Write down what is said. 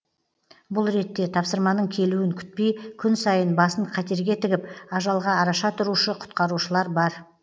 бұл ретте тапсырманың келуін күтпей күн сайын басын қатерге тігіп ажалға араша тұрушы құтқарушылар бар